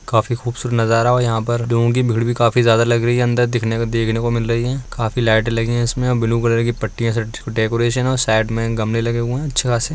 काफी खूबसूरत नज़ारा है और यहाँ पर लोगों की भीड़ भी काफी जयादा लग रही है अंदर दिखने देखने मिल रहे हैं | काफी लाइटे लगी है इसमें और ब्लू कलर की पट्टी डेकोरेशन है और साइड में गमले लगे हुई हैं अच्छे खासे।